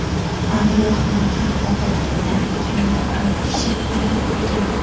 Aviahalokat oqibatida kamida olti kishi halok bo‘lgan.